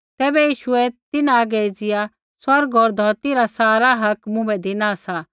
तैबै यीशुऐ तिन्हां हागै एज़िया बोलू स्वर्ग होर धौरती रा सारा हक मुँभै धिना सा